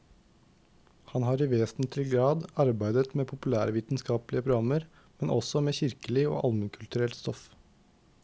Han har i vesentlig grad arbeidet med populærvitenskapelige programmer, men også med kirkelig og almenkulturelt stoff.